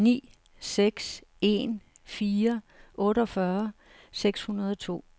ni seks en fire otteogfyrre seks hundrede og to